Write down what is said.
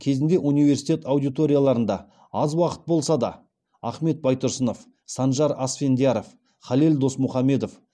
кезінде университет аудиторияларында аз уақыт болса да ахмет байтұрсынов санжар асфендияров халел досмұхамедов